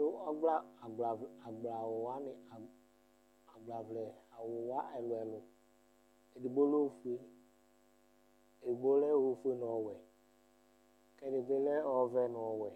Kɔ ɔgbla agblawu wani agbaʋlɛ wa ɛlu ɛlu edigbo lɛ ofue, edigbo lɛ ofue n'ɔwɛ k'ɛdi bi lɛ ɔvɛ n'ɔwɛ,